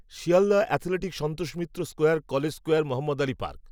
Sealdah athletic Santosh Mitra square college square Mohammed Ali park